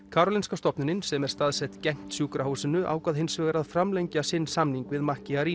Karolinska stofnunin sem er staðsett gegnt sjúkrahúsinu ákvað hins vegar að framlengja sinn samning við